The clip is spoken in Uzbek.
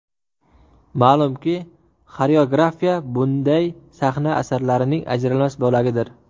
Ma’lumki, xoreografiya bunday sahna asarlarining ajralmas bo‘lagidir.